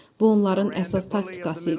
Bu onların əsas taktikası idi.